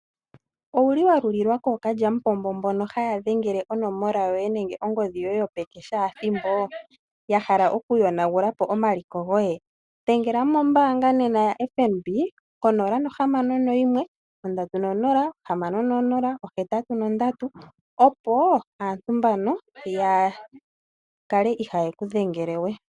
Owu li wa lulilwa kookalyamupombo mbono haya dhengele onomola yoye nenge ongodhi yoye yopeke shaathimbo ya hala okuyonagula po omaliko goye? Dhengela mombaanga nena yaFNB ko061 306083, opo aantu mbano ya kale ihaaye ku dhengele we.